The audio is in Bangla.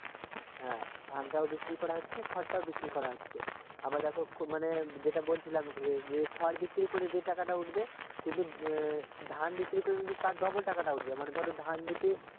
হ্যাঁ ধানটাও বিক্রি করা হচ্ছে খড়টাও বিক্রি করা হচ্ছে আবার দেখো মানে যেটা বলছিলাম যে খড় বিক্রি করে যে টাকাটা উঠবে কিন্তু ধান বিক্রি করে তার ডবল টাকাটা উঠবে মানে ধান যদি